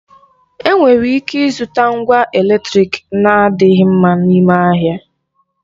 Enwere ịke ịzụta ngwa eletrịk na-adịghị mma n'ime ahịa.